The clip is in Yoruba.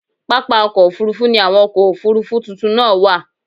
Pápá ọkọ́ Òfurufú ni àwọn ọkọ̀ Òfurufú tuntun náà wà.